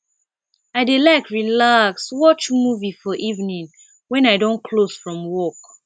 i dey like relax watch movie for evening wen i don close from work